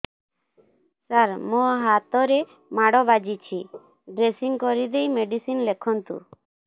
ସାର ମୋ ହାତରେ ମାଡ଼ ବାଜିଛି ଡ୍ରେସିଂ କରିଦେଇ ମେଡିସିନ ଲେଖନ୍ତୁ